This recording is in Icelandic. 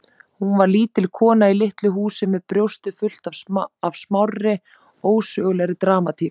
Hún var lítil kona í litlu húsi með brjóstið fullt af smárri, ósögulegri dramatík.